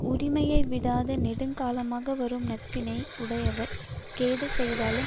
உரிமையை விடாது நெடுங்காலமாக வரும் நட்பினை உடையவர் கேடு செய்தாலும்